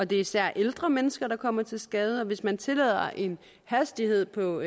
det især er ældre mennesker der kommer til skade og hvis man tillader en hastighed på